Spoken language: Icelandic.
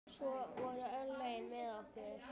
Svo voru örlögin með okkur.